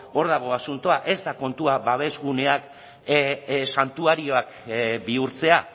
hor dago asuntoa ez da kontua babesguneak santuarioak bihurtzea